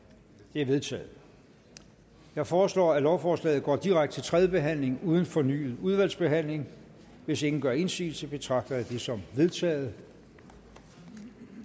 det er vedtaget jeg foreslår at lovforslaget går direkte til tredje behandling uden fornyet udvalgsbehandling hvis ingen gør indsigelse betragter jeg det som vedtaget